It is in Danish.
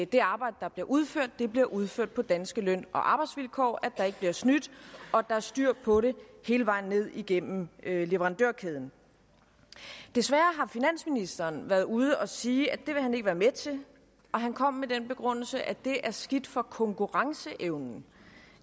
det arbejde der bliver udført bliver udført på danske løn og arbejdsvilkår at der ikke bliver snydt og at der er styr på det hele vejen ned igennem leverandørkæden desværre har finansministeren været ude at sige at det vil han ikke være med til og han kom med den begrundelse at det er skidt for konkurrenceevnen